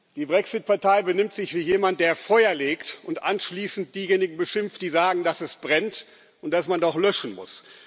Die Brexit Partei benimmt sich wie jemand, der Feuer legt und anschließend diejenigen beschimpft, die sagen, dass es brennt und dass man doch löschen muss.